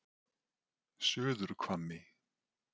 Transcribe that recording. Suðurhvammi